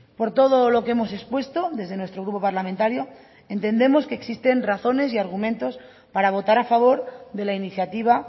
por todo lo que hemos expuesto desde nuestro grupo parlamentario entendemos que existen razones y argumentos para votar a favor de la iniciativa